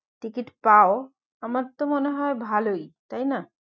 Ticket পাও আমার তো মনে হয় ভালোই, তাই না?